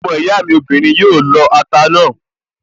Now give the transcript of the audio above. Ọmọ ìyá mi obìnrin yóò lọ ata náà